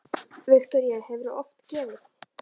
Viktoría: Hefurðu oft gefið?